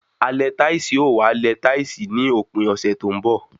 Alẹ táìsì ó wàá lẹ táìsì ní òpin ọ̀sẹ̀ tó ń bọ̀